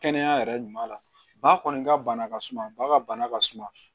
Kɛnɛya yɛrɛ ɲuman na ba kɔni ka bana ka suma ba ka bana ka suma